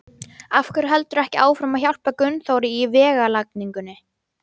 Af hverju heldurðu ekki áfram að hjálpa Gunnþóri í vegalagningunni?